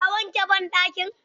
Ka wanke banɗakin?